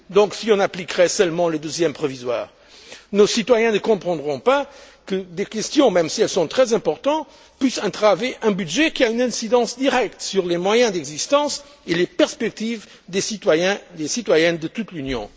Si on appliquait seulement les douzièmes provisoires, nos citoyens ne comprendraient pas que des questions, même si elles sont très importantes, puissent entraver un budget qui a une incidence directe sur les moyens d'existence et les perspectives des citoyens et des citoyennes de toute l'Union.